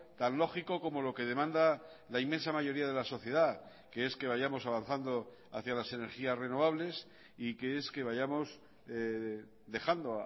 tan lógico como lo que demanda la inmensa mayoría de la sociedad que es que vayamos avanzando hacia las energías renovables y que es que vayamos dejando